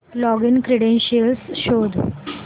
login credentials शोध